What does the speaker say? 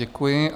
Děkuji.